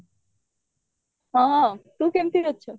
ହଁ ତୁ କେମିତି ଅଛୁ